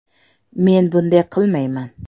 Men bunday qilmayman.